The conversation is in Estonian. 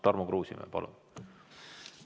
Tarmo Kruusimäe, palun!